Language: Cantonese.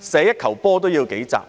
射一球波也要數集的時間。